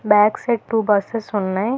Back side to buses ఉన్నాయ్.